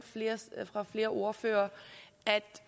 af flere ordførere at